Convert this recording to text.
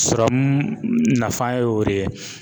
Sɔrɔmu nafa y'o de ye.